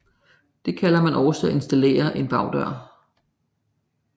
Det kalder man også at installere en bagdør